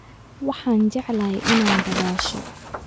Waxaan jeclahay inaan dabaasho